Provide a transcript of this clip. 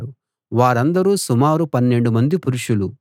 వారందరూ సుమారు పన్నెండు మంది పురుషులు